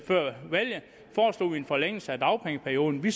før valget en forlængelse af dagpengeperioden vi